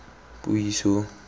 puiso